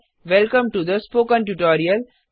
welcome to the spoken tutorial